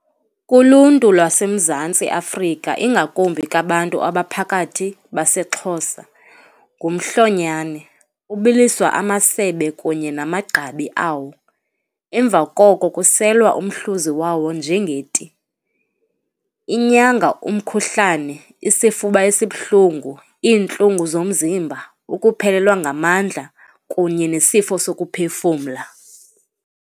Kuluntu lwaseMzantsi Afrika, ingakumbi kabantu abaphakathi baseXhosa ngumhlonyanane. Kubiliswa amasebe kunye namagqabi awo, emva koko kuselwa umhluzi wawo njengeti. Inyanga umkhuhlane, isifuba esibuhlungu, iintlungu zomzimba, ukuphelelwa ngamandla kunye nesifo sokuphefumla.